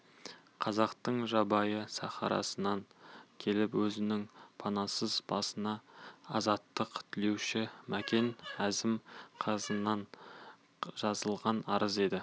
қазақтың жабайы сахарасынан келіп өзінің панасыз басына азаттық тілеуші мәкен әзім қызынан жазылған арыз еді